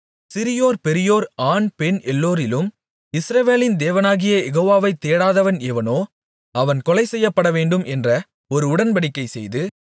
சிறியோர் பெரியோர் ஆண் பெண் எல்லோரிலும் இஸ்ரவேலின் தேவனாகிய யெகோவாவை தேடாதவன் எவனோ அவன் கொலைசெய்யப்படவேண்டும் என்ற ஒரு உடன்படிக்கை செய்து